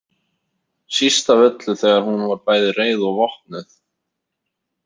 Síst af öllu þegar hún var bæði reið og vopnuð.